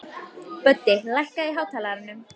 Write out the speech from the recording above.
Böddi, lækkaðu í hátalaranum.